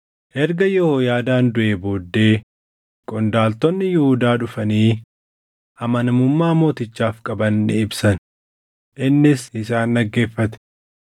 Erga Yehooyaadaan duʼee booddee qondaaltonni Yihuudaa dhufanii amanamummaa mootichaaf qaban ni ibsan; innis isaan dhaggeeffate.